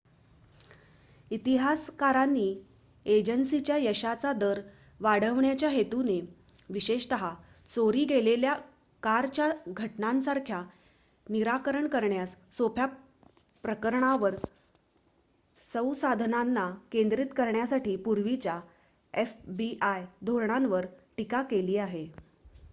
इतिहासकारांनी एजन्सीच्या यशाचा दर वाढविण्याच्या हेतूने विशेषत चोरी गेलेल्या कारच्या घटनांसारख्या निराकरण करण्यास सोप्या प्रकरणांवर संसाधनांना केंद्रित करण्यासाठी पूर्वीच्या fbi धोरणांवर टीका केली आहे